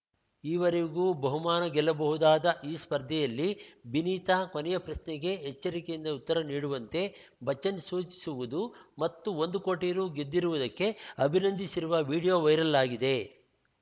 ಈವರೆಗೂ ಬಹುಮಾನ ಗೆಲ್ಲಬಹುದಾದ ಈ ಸ್ಪರ್ಧೆಯಲ್ಲಿ ಬಿನೀತಾ ಕೊನೆಯ ಪ್ರಶ್ನೆಗೆ ಎಚ್ಚರಿಕೆಯಿಂದ ಉತ್ತರ ನೀಡುವಂತೆ ಬಚ್ಚನ್‌ ಸೂಚಿಸುವುದು ಮತ್ತು ಒಂದು ಕೋಟಿ ರು ಗೆದ್ದಿರುವುದಕ್ಕೆ ಅಭಿನಂದಿಸಿರುವ ವೀಡಿಯೊ ವೈರಲ್‌ ಆಗಿದೆ